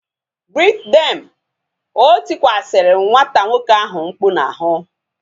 Greet them! O tikwasi nwata nwoke ahu mkpu ụnyaahụ